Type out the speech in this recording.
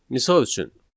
Misal üçün: